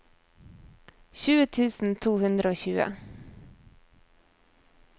tjue tusen to hundre og tjue